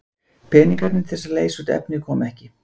Peningarnir til að leysa út efnið koma ekki.